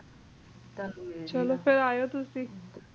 ਚਲੋ ਫੇਰ ਆਯੋ ਤੁਸੀ